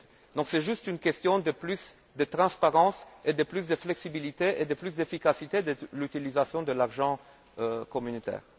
Donc c'est juste une question de plus de transparence et de plus de flexibilité et de plus d'efficacité de l'utilisation de l'argent communautaire.